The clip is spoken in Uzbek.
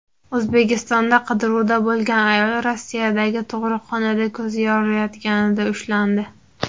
O‘zbekistonda qidiruvda bo‘lgan ayol Rossiyadagi tug‘ruqxonada ko‘zi yoriyotganida ushlandi .